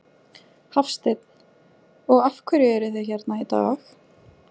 Hafsteinn: Og af hverju eruð þið hérna í dag?